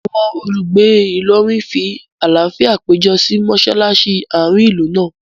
Awọn olùgbé Ìlọrin fí àlàáfíà pejọ si mọṣalaṣi àárín ìlú náà